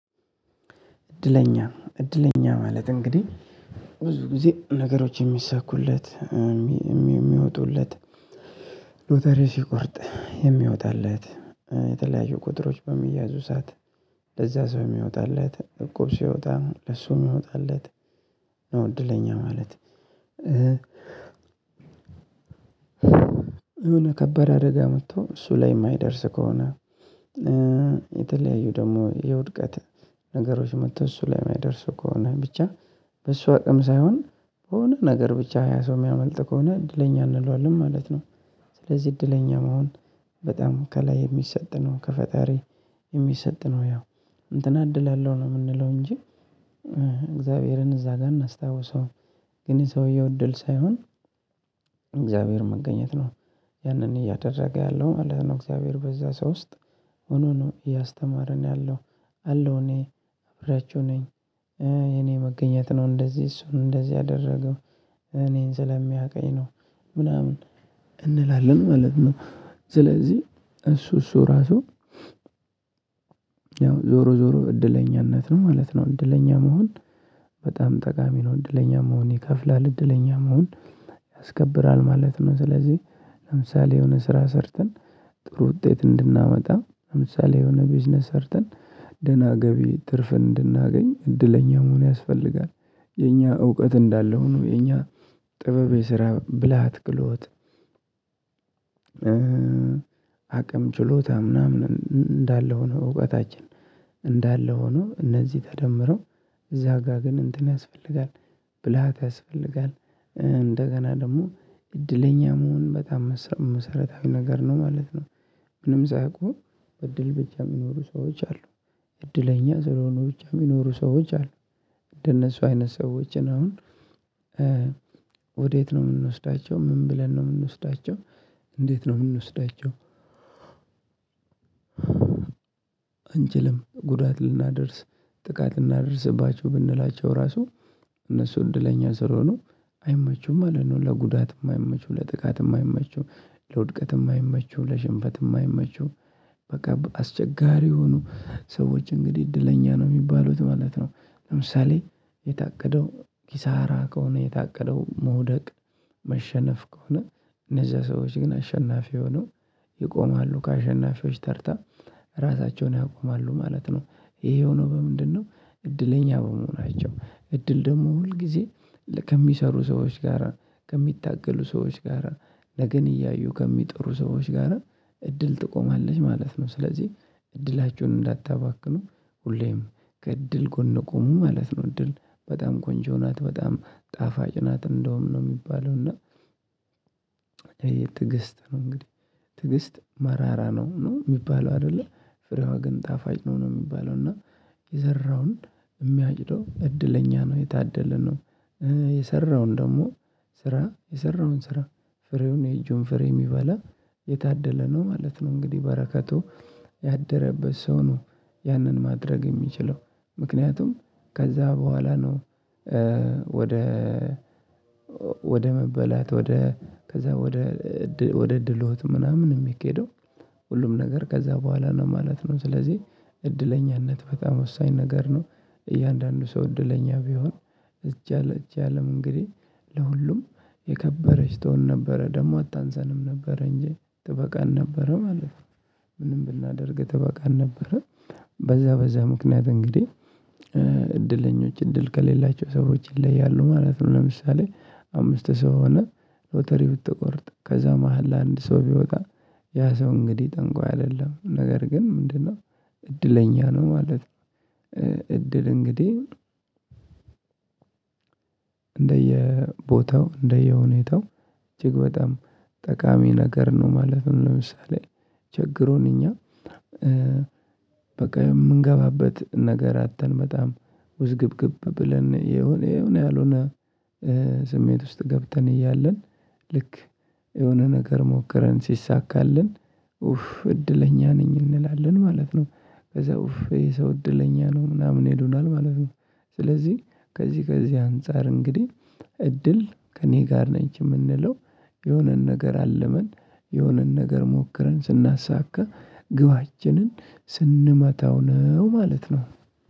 እድለኛ እድለኛ ማለት እንግዲህ ብዙ ጊዜ ነገሮች የሚሳኩለት የሚወጡለት ሎተሪ ሲቆርጥ የሚወጣለት የተለያዩ ቁጥሮች በሚያዙ ሰዓት ለዛ ሰው የሚያወጣለት እቁብ ሲወጣ ለሱም የሚወጣለት ነው እድለኛ ማለት። የሆነ ከበረ አደጋ መጥቶ እሱ ላይ የማይደርስ ከሆነ የተለያዩ ደግሞ የውድቀት ነገሮች መጥቶ እሱ ላይ የሚያደርሱ ከሆነ ብቻ በሷ አቅም ሳይሆን በሆነ ነገር ብቻ ያ ሰው የሚያመልጥ ከሆነ እድለኛ አንለዋለንም ማለት ነው። ስለዚህ እድለኛም መሆን በጣም ከላይ የሚሰጥ ነው ከፈጣሪ የሚሰጥ ነው ያው እንትና እድል አለው ነው የምንለው እንጂ። እግዚአብሔርን እዛ ጋር እናስታውሰም ግን ሰውየው እድል ሳይሆን እግዚአብሔር መገኘት ነው። ያንን እያደረገ ያለው ማለት ነው እግዚአብሔር በዛ ሰው ውስጥ ሆኖ ነው እያስተማረን ያለው። አለው እኔ እብያችሁ ነኝ እኔ መገኘት ነው እንደዚህ እሱን እንደዚህ አደረገው እኔን ስለሚያውቀኝ ነው ምናምን እንላለን ማለት ነው። ስለዚህ እሱ እሱ ራሱ ያው ዞሮ ዞሮ እድለኛነት ነው ማለት ነው። እድለኛ መሆን በጣም ጠቃሚ ነው እድለኛ መሆን ይከፍላል እድለኛ መሆን ያስከብራል ማለት ነው። ስለዚህ ለምሳሌ የሆነ ስራ ሰርተን ጥሩ ውጤት እንድናመጣ ለምሳሌ የሆነ ቢዝነስ ሰርተን ደህና ገቢ ትርፍ እንድናገኝ እድለኛ መሆን ያስፈልጋል። የኛ እውቀት እንዳለሁ ነው የኛ ጥበብ የስራ ብልሃት ክህሎት። አቅም ችሎታ ምናምን እንዳለ ሆኖ እውቀታችን እንዳለ ሆኖ እነዚህ ተደምሮ እዛ ጋር ግን እንትን ያስፈልጋል ብልሃት ያስፈልጋል። እንደገና ደግሞ እድለኛ መሆን በጣም መሰረታዊ ነገር ነው ማለት ነው። ምንም ሳያውቁ በእድል ብቻ የሚኖሩ ሰዎች አሉ። እድለኛ ስለሆኑ ብቻ የሚኖሩ ሰዎች አሉ። እንደነሱ አይነት ሰዎችን አሁን ወዴት ነው የምንወስዳቸው ምን ብለን ነው የምንወስዳቸው? እንዴት ነው የምንወስዳቸው? አንችልም ጉዳት ልናደርስ ጥቃት ልናደርስባችሁ ብንላቸው ራሱ እነሱ እንደለኛ ስለሆኑ አይመቹም ማለት ነው ለጉዳትም አይመቹም ለጥቃትም አይመቹም ለውድቀትም አይመቹም ለሽንፈት የማይመቹ በቃ አስቸጋሪ የሆኑ ሰዎች እንግዲህ እድለኛ ነው የሚባሉት ማለት ነው። ለምሳሌ የታቀደው ኪሳራ ከሆነ የታቀደው መውደቅ መሸነፍ ከሆነ እነዛ ሰዎች ግን አሸናፊ የሆኑ ይቆማሉ ከአሸናፊዎች ተርታ ራሳቸውን ያቆማሉ ማለት ነው። ይሄው ነው በምንድነው? እድለኛ በመሆናቸው እድል ደግሞ ሁል ጊዜ ከሚሰሩ ሰዎች ጋራ ከሚታገሉ ሰዎች ጋራ ለነገን እያዩ ከሚጥሩ ሰዎች ጋራ እድል ትቆማለች ማለት ነው። ስለዚህ እድላቸውን እንዳታባክኑ ሁሌም ከእድል ጎን ቆሙ ማለት ነው። እድል በጣም ቆንጆ ናት በጣም ጣፋጭ ናት እንደውም ነው የሚባለው እና። የትዕግስት መንገድ ትግስት መራራ ነው ነው የሚባለው አይደለ ፍሬዋ ግን ጣፋጭ ነው ነው የሚባለው እና የዘራውን የሚያጭደው እድለኛ ነው የታደለነው የሰራውን ደግሞ ስራ የሰራውን ስራ ፍሬውን የእጁን ፍሬ የሚበላ የታደለ ነው ማለት ነው። እንግዲህ በረከቱ ያደረበት ሰው ነው ያንን ማድረግ የሚችለው ምክንያቱም ከዛ በኋላ ነው። ወደ ወደ መበላት ወደ ከዛ ወደ ወደ እድሎት ምናምን የሚኬደው ሁሉም ነገር ከዛ በኋላ ነው ማለት ነው። ስለዚህ እድለኛነት በጣም ወሳኝ ነገር ነው። እያንዳንዱ ሰው እድለኛ ቢሆን ይች አለም ይቺ አለም እንግዲህ ለሁሉም የከበረች ትሆን ነበረ ደግሞ አታንሰንም ነበረ እንጂ ትበቃን ነበረ ማለት ነው ምንም ብናደርግ ተበቃን ነበረ። በዛ በዛ ምክንያት እንግዲህ እድለኞች እድል ከሌላቸው ሰዎች ይለያሉ ማለት ነው። ለምሳሌ አምስት ሰው ሆነህ ሎተሪ ብትቆርጥ ከዛ መሃል ለአንድ ሰው ቢወጣ ያ ሰው እንግዲህ ጠንቋይ አይደለም ነገር ግን ምንድነው? እድለኛ ነው ማለት ነው። እድል እንግዲህ እንደየቦታው እንደየሁኔታው እጅግ በጣም ጠቃሚ ነገር ነው። ማለትም ለምሳሌ ችግሩን እኛ በቃ የምንገባበት ነገር አጥተን በጣም ውዝግብግብ ብለን የሆነ የሆነ ያልሆነ ስሜት ውስጥ ገብተን እያለን ልክ የሆነ ነገር ሞክረን ሲሳካልን ኡፍ እድለኛ ነኝ እንላለን ማለት ነው ከዛ የሰው እድለኛ ነው ምናምን ይሉናል ማለት ነው። ስለዚህ ከዚህ ከዚህ አንፃር እንግዲህ እድል ከእኔ ጋር ነች የምንለው የሆነን ነገር አልመን የሆነን ነገር ሞክረን ስናሳካ ግባችንን ስንመታው ነው ማለት ነው።